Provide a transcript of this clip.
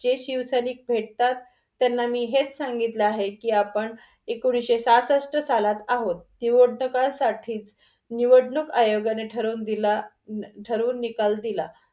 जे शिवसैनिक भेटतात त्यांना मी हेच सांगितले आहे की आपण एकोणीशे साहशष्ट सालात आहोत. निवडणूक साठी निवडणूक अयोगयाने ठरवून निकाल दिला.